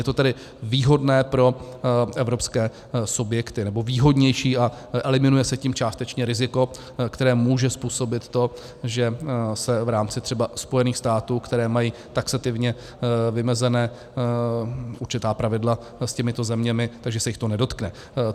Je to tedy výhodné pro evropské subjekty, nebo výhodnější, a eliminuje se tím částečně riziko, které může způsobit to, že se v rámci třeba Spojených států, které mají taxativně vymezená určitá pravidla s těmito zeměmi, že se jich to nedotkne.